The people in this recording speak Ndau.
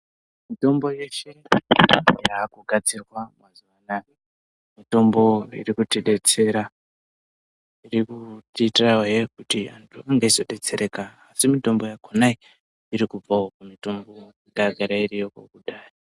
Mitombo yeshe yakugadzirwa mazuwanaya mitombo irikuti detsera. Iri kutiitirazve kuti antu anenge eyizodetsereka asi mitombo yakona iyi irikubvawo pamutombo yanga iripo kudhaya.